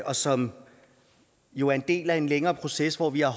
og som jo er en del af en længere proces hvor vi har